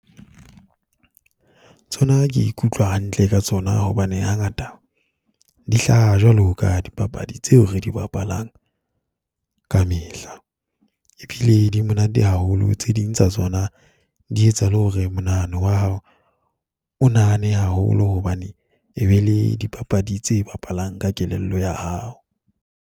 Tsona ke ikutlwa hantle ka tsona hobane hangata di hlaha jwalo ka dipapadi tseo re di bapalang kamehla. Ebile di monate haholo. Tse ding tsa tsona di etsa le hore monahano wa hao o nahane haholo hobane e be le dipapadi tse bapalang ka kelello ya hao.